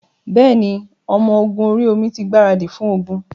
Bẹ́ẹ̀ ni, ọmọ ogun orí-omi tí gbaradì fún ogun.